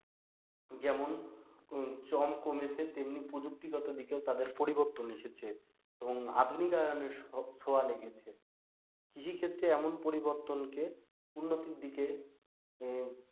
যেমন চল কমেছে তেমনি প্রযুক্তিগত দিকেও তাদের পরিবর্তন এসেছে এবং আধুনিকায়নের ছোঁয়া লেগেছে। কৃষি ক্ষেত্রে এমন পরিবর্তনকে উন্নতির দিকে,